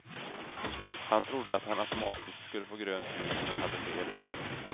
Han trodde att han automatiskt skulle få grönt ljus men hade fel.